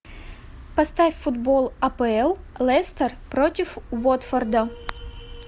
поставь футбол апл лестер против уотфорда